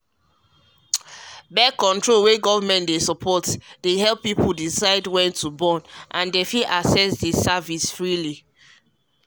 birth-control wey government dey um back dey help people decide when to um bornand dem fit um access the service freely